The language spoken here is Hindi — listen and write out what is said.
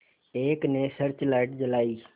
एक ने सर्च लाइट जलाई